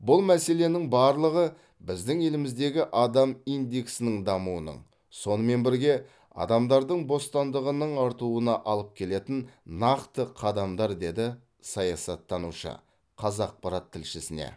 бұл мәселенің барлығы біздің еліміздегі адам индексінің дамуының сонымен бірге адамдардың бостандығының артуына алып келетін нақты қадамдар деді саясаттанушы қазақпарат тілшісіне